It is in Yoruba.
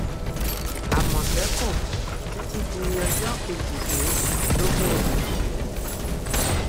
àmọtẹkùn títí di ọjọ kejìdínlógún oṣù yìí